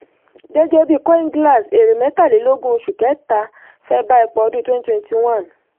gẹ́gẹ́ bí coinglass èrè mẹ́tàlélógún oṣù kẹta fẹ́ bá ipa ọdún twenty twenty one.